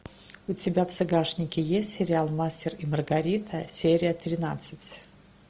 у тебя в загашнике есть сериал мастер и маргарита серия тринадцать